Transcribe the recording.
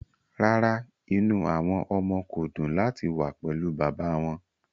Rárá, inú àwọn ọmọ kò dùn láti wà pẹ̀lú bàbá wọn